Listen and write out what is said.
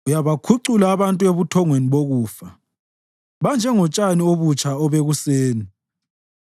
Uyabakhucula abantu ebuthongweni bokufa; banjengotshani obutsha obekuseni